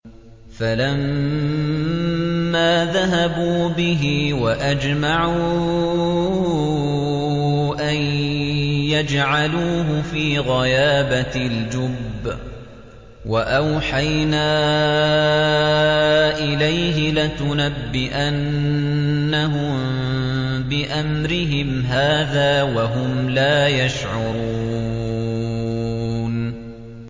فَلَمَّا ذَهَبُوا بِهِ وَأَجْمَعُوا أَن يَجْعَلُوهُ فِي غَيَابَتِ الْجُبِّ ۚ وَأَوْحَيْنَا إِلَيْهِ لَتُنَبِّئَنَّهُم بِأَمْرِهِمْ هَٰذَا وَهُمْ لَا يَشْعُرُونَ